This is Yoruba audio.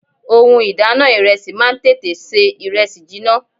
Ohun ìdáná ìrẹsì máa ń tètè ṣe ìrẹsì jiná.